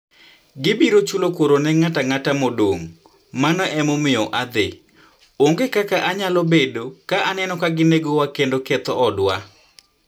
Gibiro chulo kuor ne ng'ato ang'ata modong', mano emomiyo adhi... onge kaka anyalo bedo ka aneno ka ginegowa kendo ketho odwa.